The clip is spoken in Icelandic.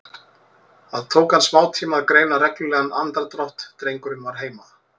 Það tók hann smátíma að greina reglulegan andardrátt, drengurinn var heima.